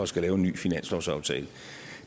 skal lave en ny finanslovsaftale